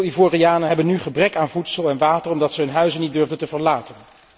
Veel Ivorianen hebben nu gebrek aan voedsel en water omdat zij hun huizen niet durfden te verlaten.